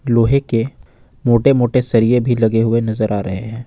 लोहे के मोटे मोटे सरिए भी लगे हुए नजर आ रहे हैं।